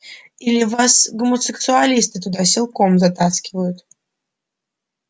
или вас гомосексуалисты туда силком затаскивают